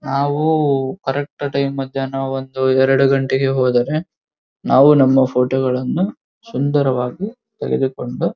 ನಾವು correct time ಮದ್ಯಾನ ಒಂದು ಎರಡು ಗಂಟೆಗೆ ಹೋದರೆ ನಾವು ನಮ್ಮ ಫೋಟೋಗಳನ್ನು ಸುಂದರವಾಗಿ ತೆಗೆದುಕೊಂಡು --